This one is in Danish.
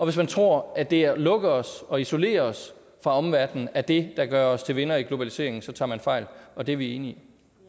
hvis man tror at det at lukke os og isolere os fra omverdenen er det der gør os til vinder i globaliseringen så tager man fejl og det er vi enige